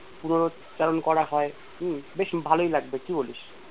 পুরো চারণ করা হয় হম বেশ ভালই লাগবে কি বলিস?